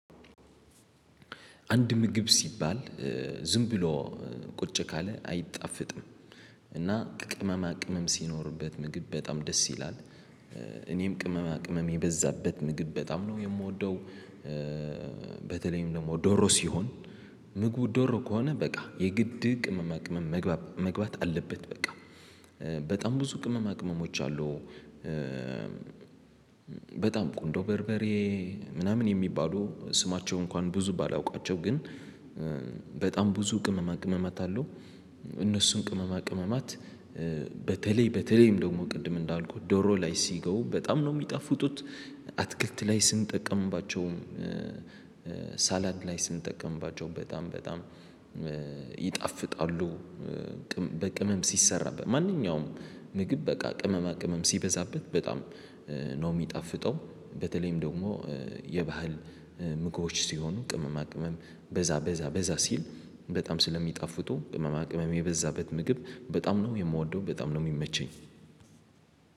አንድ ምግብ ሲባል ዝም ብሎ ቁጭ ካለ አይጣፈጥም እና ቅመማ ቅመም ሲኖርበት ምግብ በጣም ደስ ይላል። እኔም ቅመማ ቅመም የበዛበት ምግብ በጣም ነው የምወደው በተለይም ደግሞ ዶሮ ሲሆን ምግቡ ዶሮ ከሆነ በቃ የግድ ቅመማ ቅመም መግባት አለበት በቃ በጣም ብዙ ቅመመ ቅመሞች አሉ። በጣም ቁንዶ በርበሬ ምናምን የሚባሉ ስማቸው እንኳን ብዙ ባላውቃቸው ግን በጣም ብዙ ቅመማ ቅመማት አለ እነሱን ቅመማ ቅመማት በተለይ በተለይም ደግሞ ቅድም እንዳልኩት ዶሮ ላይ ሲገቡ በጣም ነው የሚጠፉቱት አትክልት ላይ ስንጠቀምባቸውም ሳላድ ላይ ስንጠቀምባቸው በጣም በጣም ይጣፍጣሉ። በቅመም ሲሰራበት ማንኛውም ምግብ በቃ ቅመማ ቅመም ሲበዛበት በጣም ነው የሚጣፍጠው በተለይም ደግሞ የባህል ምግቦች ሲሆኑ ቅመማ ቅመም በዛ በዛ በዛ ሲል በጣም ስለሚጣፍጡ ቅመማ ቅመም የበዛበት ምግብ በጣም ነው የምወደው በጣም ነው የሚመቸኝ